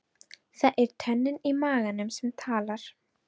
Það er tönnin í maganum sem talar.